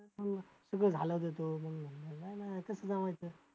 सगळं झाल्यावर देतो नाही नाही जवळचे आहेत.